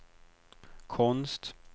konst